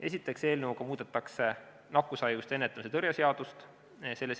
Esiteks, eelnõuga muudetakse nakkushaiguste ennetamise ja tõrje seadust.